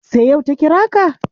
Sai yau ta kira ka?